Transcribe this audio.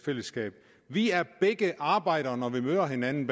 fællesskab vi er begge arbejdere når vi møder hinanden